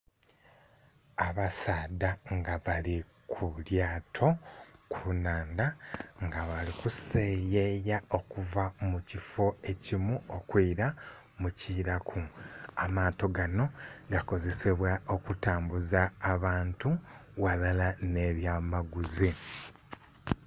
Abasaadha nga bali ku lyaato ku nnhandha nga bali kuseyeya okuva mu kiffo ekimu okwila mu kiilaku. Amaato ganho gakozesebwa okutambuza abantu ghalala nh'ebya amaguzi.